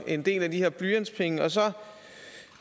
en del af de her blyantspenge og så